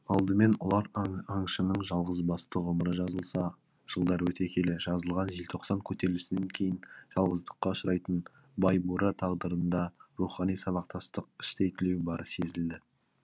алдымен ұлар аңшының жалғызбасты ғұмыры жазылса жылдар өте келе жазылған желтоқсан көтерілісінен кейін жалғыздыққа ұшырайтын байбура тағдырында рухани сабақтастық іштей түлеу бары сезілді